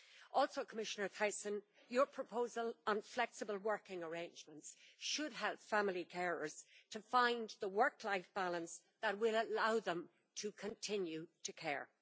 Also, Commissioner Thyssen, your proposal on flexible working arrangements should help family carers to find the work life balance that will allow them to continue to care.